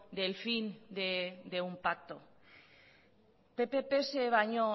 del fin de un pacto pp pse baino